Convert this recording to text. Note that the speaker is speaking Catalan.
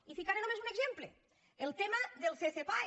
i en posaré només un exemple el tema del ccpae